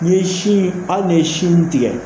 N'i ye sin hali n'i ye sin tigɛ